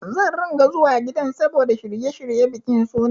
Zan ringa zuwa gidan saboda shirye-shiryen bikin sunan.